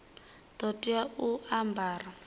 ḓo tea u a ambara